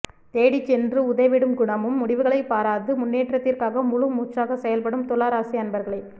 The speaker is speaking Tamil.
தேடி சென்று உதவிடும் குணமும் முடிவுகளை பராது முன்னேற்றத்திற்காக முழு மூச்சாக செயல்படும் துலா ராசி அன்பர்களே